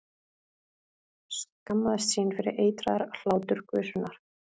Skammaðist sín fyrir eitraðar hláturgusurnar.